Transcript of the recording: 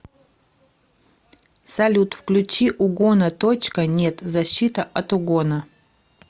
салют включи угона точка нет защита от угона